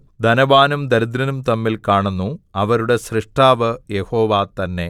ധനവാനും ദരിദ്രനും തമ്മിൽ കാണുന്നു അവരുടെ സ്രഷ്ടാവ് യഹോവ തന്നെ